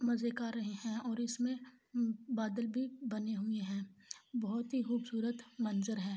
اور اسمے بادل بھی بادل بھی بنی ہوئ ہے بہت ہی قوبصورت منظر ہے